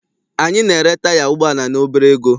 Anyị na-ere taya ụgbọala n'obere ego.